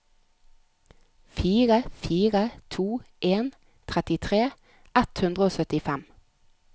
fire fire to en trettitre ett hundre og syttifem